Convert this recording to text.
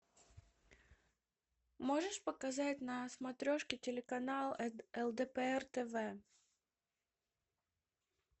можешь показать на смотрешке телеканал лдпр тв